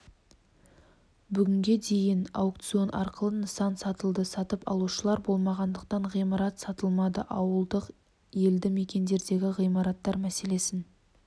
бүгінге дейін аукцион арқылы нысан сатылды сатып алушылар болмағандықтан ғимарат сатылмады ауылдық елді мекендердегі ғимараттар мәселесін